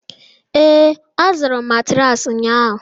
ee, azụrụ m matraasi ụnyahụ